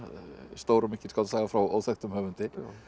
stór og mikil skáldsaga frá óþekktum höfundi